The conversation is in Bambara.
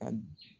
A